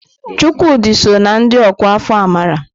Chukwudi sọ na ndị ọkwá afọ amara.